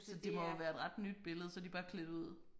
Så det må jo være et ret nyt billede så de bare klædt ud